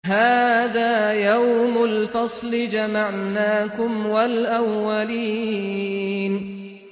هَٰذَا يَوْمُ الْفَصْلِ ۖ جَمَعْنَاكُمْ وَالْأَوَّلِينَ